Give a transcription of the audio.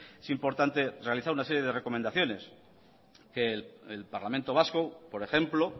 es importante realizar una serie de recomendaciones que el parlamento vasco por ejemplo